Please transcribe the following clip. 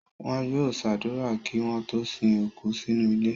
Wọn yóò ṣàdúrà kí wọ́n tó sin òkú sínú ilẹ̀.